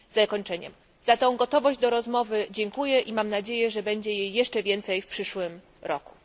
Za tą gotowość do rozmowy dziękuję i mam nadzieję, że będzie jej jeszcze więcej w przyszłym roku.